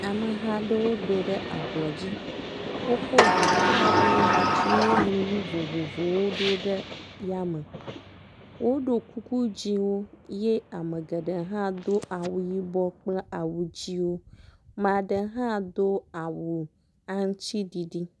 Ameha aɖewo do ɖe ablɔ dzi. Wokɔ ŋuƒo aɖewo yi dzi woŋlɔ nu vovovowo ɖo ɖe yame. Woɖo kuku dzɛ̃wo ye ame geɖe hã do awu yibɔ kple awu dzɛ̃wo. Ame aɖe hã do awu aŋutiɖiɖi.